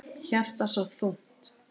Hjartað svo þungt.